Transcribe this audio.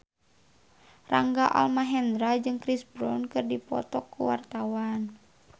Rangga Almahendra jeung Chris Brown keur dipoto ku wartawan